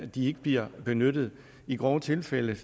de ikke bliver benyttet i grove tilfælde